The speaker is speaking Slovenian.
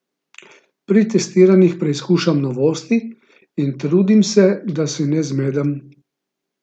Pri testiranjih preizkušam novosti in trudim se, da se ne zmedem.